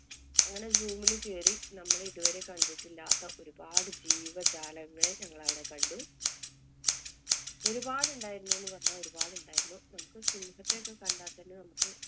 അങ്ങനെ zoom ല് കയറി നമ്മള് ഇതുവരെ കണ്ടിട്ടില്ലാത്ത ഒരുപാട് ജീവജാലങ്ങളെ ഞങ്ങളവിടെ കണ്ടു. ഒരുപാട് ഉണ്ടായിരുന്നു എന്ന് പറഞ്ഞാ ഒരുപാട് ഉണ്ടായിരുന്നു. നമുക്ക് സിംഹത്തെ ഒക്കെ കണ്ടാല്‍ തന്നെ നമുക്ക്